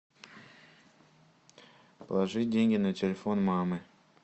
положи деньги на телефон мамы